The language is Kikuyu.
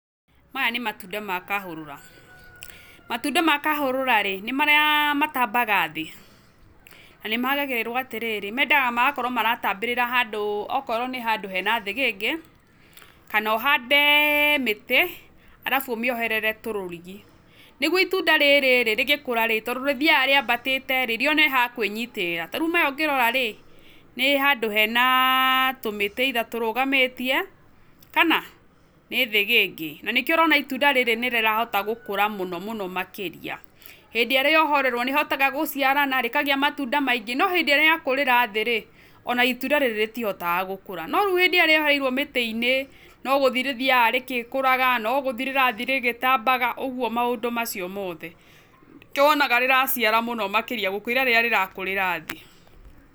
Maya nĩ matunda ma kahũrũra. Matunda ma kahũrũra-rĩ, nĩ marĩa matambaga thĩĩ. Na nĩmagagĩrĩrwo atĩrĩrĩ mendaga magakorwo maratambĩrĩra handũ okorwo nĩ handũ hena thĩgĩngĩ, kana ũhande mĩtĩ, arabu ũmĩoherere tũrũrigi. Nĩguo itunda rĩrĩ-rĩ rĩgĩkũra-rĩ tondũ rĩthiaga rĩambatĩte-rĩ rĩone ha kwĩnyitĩrĩra. Tarĩu maya ũngĩrora-rĩ nĩ handũ hena tũmĩtĩ either tũrũgamĩtie kana, nĩ thĩgĩngĩ. Na nĩkĩo ũrona itunda rĩrĩ nĩrĩrahota gũkũra mũno mũno makĩria. Hĩndĩ ĩrĩa rĩohorerwo nĩrĩhotaga gũciarana, rĩkagĩa matunda maingĩ, no hĩndĩ ĩrĩa rĩakũrira thĩĩ-rĩ, ona itunda rĩrĩ rĩtihotaga gũkũra. No rĩu rĩrĩa rĩohereirwo mĩtĩ-inĩ no gúthii rĩthiaga rĩgĩkũraga, no gũthii rĩrathi rĩgĩtambaga ũguo maũndũ macio mothe. Nĩkio wonaga rĩraciara makĩria gũkĩrarĩrĩa rĩrakũrĩra thĩĩ.